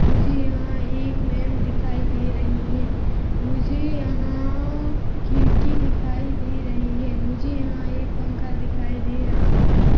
मुझे यहाँ एक मैम दिखाई दे रही हैं मुझे यहाँ खिड़की दिखाई दे रही हैं मुझे यहाँ एक पंखा दिखाई दे रहा हैं।